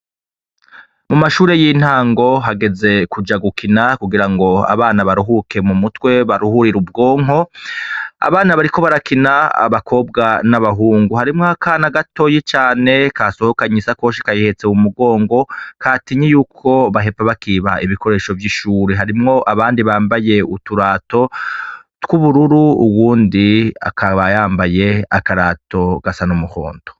Mu mashure y'intango hageze kuja gukina kugira ngo abana baruhuke mu mutwe baruhurire ubwonko abana bariko barakina abakobwa n'abahungu harimwo akana gatoyi cane kasohokanye isakoshi kayihetse mu mugongo katinye yuko bahava bakiba ibikoresho vy'ishuri harimwo abandi bambaye uturato tw'ubururu uwundi akaba yambaye akarato gasa n’umuhonto.